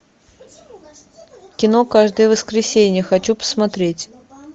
кино каждое воскресенье хочу посмотреть